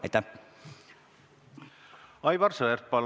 Aivar Sõerd, palun!